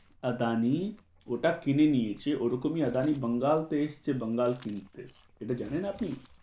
আদানি ওটা কিনে নিয়েছে ওরকমই আদানি বাঙ্গাল থেকে এসছে বাঙ্গাল কিনতে সেটা জানেন আপনি?